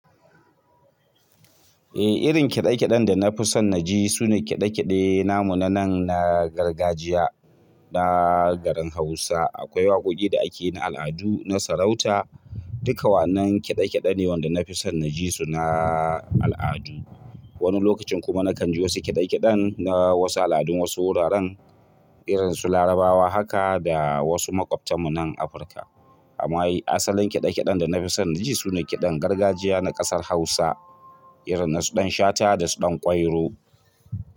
Eh, irin kiɗe-kiɗen da na fi son na ji sune kiɗe-kiɗe namu na nan na gargajiya na garin Hausa. Akwai waƙoƙi da ake na al'adu, na sarauta, duka wa annan kiɗe-kiɗe ne wanda na fi son na ji su na al'adu. Wani lokacin kuma na kan ji wasu kiɗe-kiɗen na wasu al'adun wasu wuraren irin su Larabawa haka da wasu maƙwabtanmu nan Afirka. Amma ai asalin kiɗe-kiɗen da nafi son na ji sune kiɗan gargajiya na ƙasar Hausa irin na su Ɗan Shata da su Ɗan Kwairo.